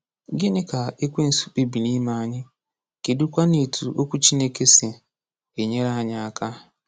Gịnị ka Ekwensu kpebiri ime anyị, kedụkwanụ etu Okwu Chineke si enyere anyị aka?